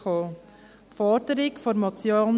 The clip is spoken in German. Die Forderung der Motion